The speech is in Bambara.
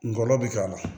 Ngɔlɔbɛ bɛ k'a la